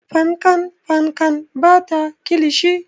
Fankan fankan ba ta kilishi.